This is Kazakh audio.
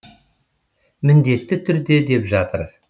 міндетті түрде деп жатыр